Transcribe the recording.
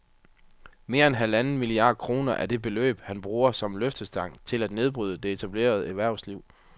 Mere end halvanden milliard kroner er det beløb, han bruger som løftestang til at nedbryde det etablerede erhvervsliv